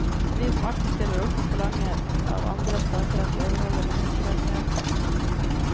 Vi som alltid stiller opp og forlanger av andre stater at de overholder menneskerettigheter.